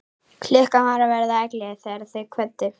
Klukkan var að verða ellefu þegar þau kvöddu.